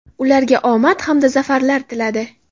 ularga omad hamda zafarlar tiladi.